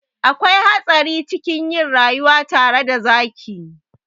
Akwai hatsari cikin yin rayuwa tare da zaki.